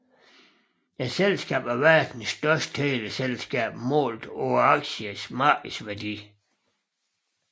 Selskabet er verdens største teleselskab målt på aktiernes markedsværdi